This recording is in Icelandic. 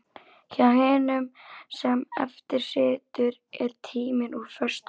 Hjá hinum sem eftir situr er tíminn úr föstu efni.